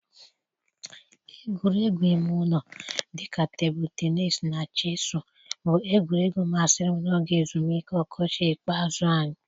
Egwuregwu ime ụlọ dị ka tebụlụ teniis na Chesụụ bụ egwuregwu masịrị m n'oge ezumike ọkọchị ikpeazụ anyị.